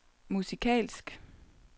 musikalsk